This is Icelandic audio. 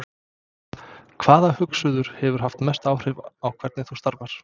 Hvaða hugsuður hefur haft mest áhrif á hvernig þú starfar?